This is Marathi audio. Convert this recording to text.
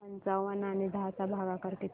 पंचावन्न आणि दहा चा भागाकार किती